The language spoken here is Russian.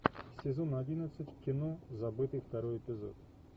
сезон одиннадцать кино забытый второй эпизод